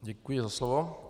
Děkuji za slovo.